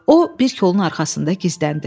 O, bir kolun arxasında gizləndi.